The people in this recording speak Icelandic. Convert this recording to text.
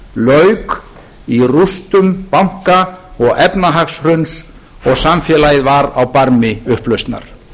lauk í rústum banka og efnahagshruns og samfélagið var á barmi upplausnar